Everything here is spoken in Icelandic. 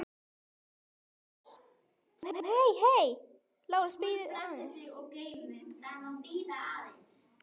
LÁRUS: Bíðið aðeins.